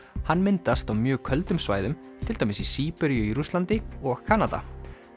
hann myndast á mjög köldum svæðum til dæmis í Síberíu í Rússlandi og Kanada